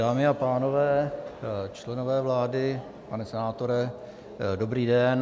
Dámy a pánové, členové vlády, pane senátore, dobrý den.